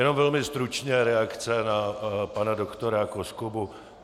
Jenom velmi stručně reakce na pana doktora Koskubu.